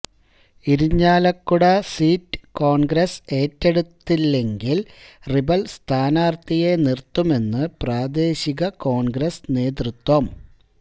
Irinjalakuda seat Congress ഏറ്റെടുത്തില്ലെങ്കില് rebel സ്ഥാനാര്ത്ഥിയെ നിര്ത്തുമെന്ന് പ്രാദേശിക കോണ്ഗ്രസ് നേതൃത്വം